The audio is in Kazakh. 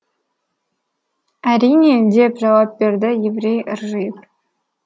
әрине деп жауап берді еврей ыржиып